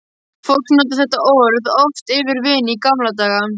Fólk notaði þetta orð oft yfir vin í gamla daga.